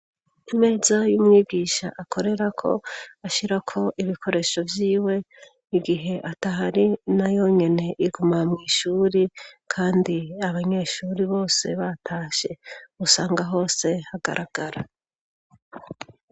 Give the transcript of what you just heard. imeza y'umwibwisha akorera ko ashyira ko ibikoresho by'iwe igihe atahari na yonyene iguma mu ishuri kandi abanyeshuri bose batashe usanga hose hagaragara